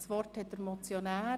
Das Wort hat der Motionär.